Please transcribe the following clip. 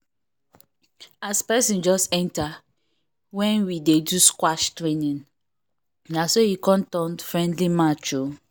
as person just enter when we dey do squash training na so e come turn friendly match o